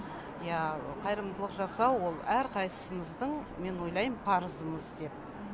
иә қайырымдылық жасау ол әрқайсысымыздың мен ойлайм парызымыз деп